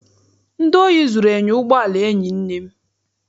Ndị ohi zụrụ enyo ụgbọala enyi nne m